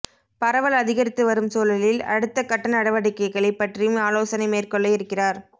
பரவல் அதிகரித்து வரும் சூழலில் அடுத்த கட்ட நடவடிக்கைகள் பற்றியும் ஆலோசனை மேற்கொள்ள இருக்கிறார்